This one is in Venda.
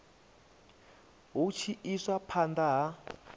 hu tshi iswa phanda ha